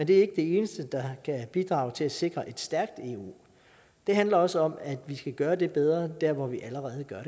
det eneste der kan bidrage til at sikre et stærkt eu det handler også om at vi skal gøre det bedre der hvor vi allerede gør